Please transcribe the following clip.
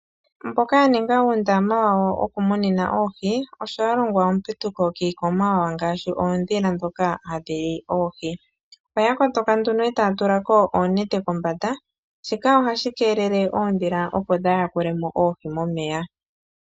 Mboka yaninga uundama wawo woku munina oohi osho yalongwa ondunge kiikwamawawa ngaashi oodhila dhoka hadhili oohi, oyakongo ondunge etaa tula ko oonete kombanda, shika ohashi keelele opo oondhila dhaa yakule mo oohi momeya.